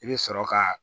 I bɛ sɔrɔ ka